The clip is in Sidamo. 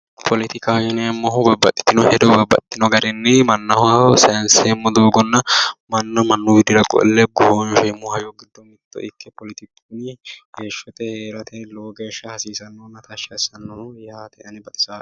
Poletikaho yineemmohu babbaxxitino hedo babbaxxino garinni mannaho sayinseemmo doogonna manna mannuywa qolle goshoonsheemmo hayyo giddo mitto ikke poletiku kuni heeshshote heerate hasiisannohonna tashshi assannoho yaate ane baxisaa"e